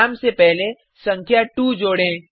नाम से पहले संख्या 2 जोड़ें